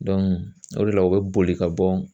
o de la u bɛ boli ka bɔ